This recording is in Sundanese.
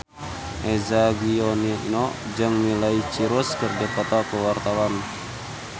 Eza Gionino jeung Miley Cyrus keur dipoto ku wartawan